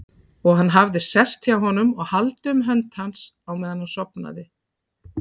Og hann hafði sest hjá honum og haldið um hönd hans á meðan hann sofnaði.